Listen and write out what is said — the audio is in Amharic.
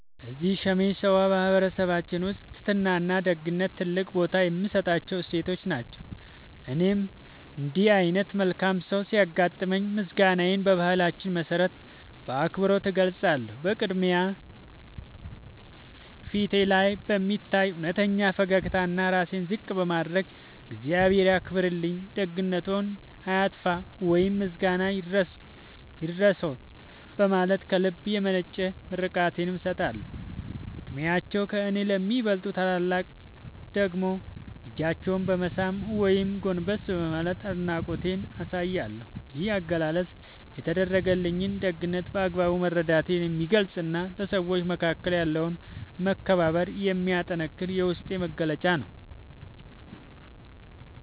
እዚህ ሰሜን ሸዋ በማኅበረሰባችን ውስጥ ትሕትናና ደግነት ትልቅ ቦታ የሚሰጣቸው እሴቶች ናቸው። እኔም እንዲህ ዓይነት መልካም ሰው ሲያጋጥመኝ ምስጋናዬን በባህላችን መሠረት በአክብሮት እገልጻለሁ። በቅድሚያ፣ ፊቴ ላይ በሚታይ እውነተኛ ፈገግታና ራሴን ዝቅ በማድረግ "እግዚአብሔር ያክብርልኝ፣ ደግነትዎ አይጥፋ" ወይም "ምስጋና ይድረስዎ" በማለት ከልብ የመነጨ ምርቃቴን እሰጣለሁ። ዕድሜያቸው ከእኔ ለሚበልጡ ታላላቆች ደግሞ እጃቸውን በመሳም ወይም ጎንበስ በማለት አድናቆቴን አሳያለሁ። ይህ አገላለጽ የተደረገልኝን ደግነት በአግባቡ መረዳቴን የሚገልጽና በሰዎች መካከል ያለውን መከባበር የሚያጠነክር የውስጤ መግለጫ ነው።